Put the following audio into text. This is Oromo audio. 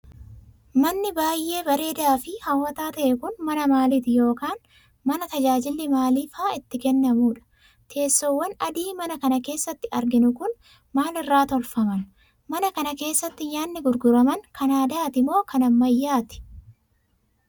Manni baay'ee bareedaa fi hawwataa ta'e kun, mana maaliti yokin mana tajaajilli maalii faa itti kennamuudha? Teessowwan adii mana kana keessatti arginu kun, maal irraa tolfaman? Mana kana keessati nyaanni gurguraman kan aadaati moo kan ammayyaati?